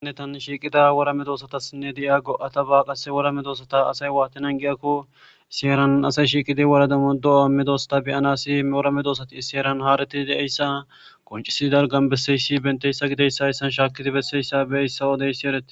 Nene tani shiqqida wora medosatasinne de'iya go'attaba qassi wora medosota asay watti naagiyakko issi heeran asay shiqqidi wora giddon wora medosotappe be'anassi wora medosati issi heeran haretidi de'iya issa qonccisidagan bessessi. Bantta issa giddasan shakkidi besses.